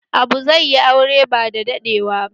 Abu zai yi aure bada daɗewa ba